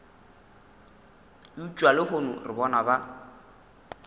eupša lehono re bona ba